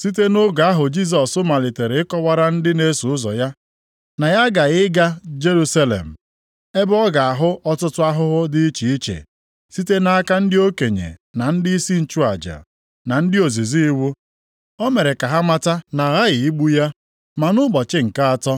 Site nʼoge ahụ Jisọs malitere ịkọwara ndị na-eso ụzọ ya, na ya aghaghị ịga Jerusalem, ebe ọ ga-ahụ ọtụtụ ahụhụ dị iche iche site nʼaka ndị okenye, na ndịisi nchụaja, na ndị ozizi iwu. O mere ka ha mata na aghaghị igbu ya, ma nʼụbọchị nke atọ,